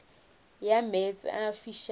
ya meetse a a fišago